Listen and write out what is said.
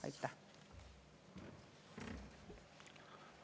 Aitäh!